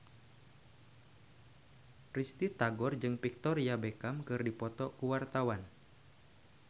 Risty Tagor jeung Victoria Beckham keur dipoto ku wartawan